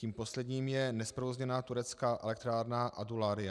Tím posledním je nezprovozněná turecká elektrárna Adularya.